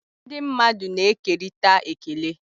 Ndị mmadụ na-ekerịta ekele.